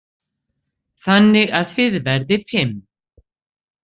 Þannig að þið verðið fimm.